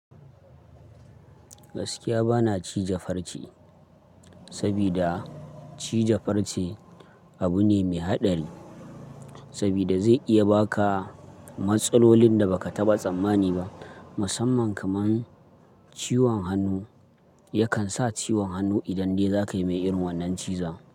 Gaskiya bana cije farce, sabida cije farce abu ne mai haɗari, sabida zai iya baka matsalolin da baka taɓa tsammani ba, musamman kamar ciwon hannu, yakan sa ciwon hannu idan dai zakai mai irin wannan ciza.